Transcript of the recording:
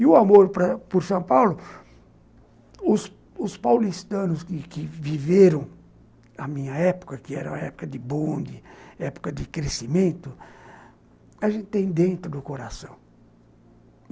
E o amor para por São Paulo, os paulistanos que que viveram a minha época, que era época de bonde, época de crescimento, a gente tem dentro do coração.